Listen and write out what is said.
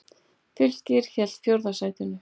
Fylkir hélt fjórða sætinu